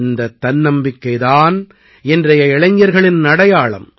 இந்த தன்னம்பிக்கை தான் இன்றைய இளைஞர்களின் அடையாளம்